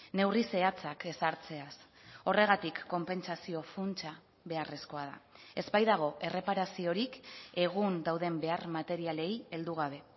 neurri zehatzak ezartzeaz horregatik konpentsazio funtsa beharrezkoa da ez baitago erreparaziorik egun dauden behar materialei heldu gabe